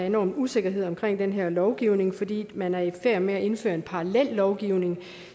enorm usikkerhed omkring den her lovgivning fordi man er i færd med at indføre en parallellovgivning